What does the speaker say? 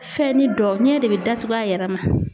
Fɛnni dɔ ɲɛ de bɛ datugu a yɛrɛ ma.